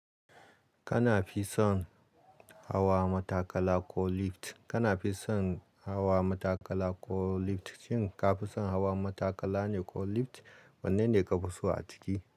Kana fisan hawa matakala ko lift? Kana fisan hawa matakala ko lift? Shin ka fisan hawa matakala ne ko lift? Wanne ne ka fi so a ciki?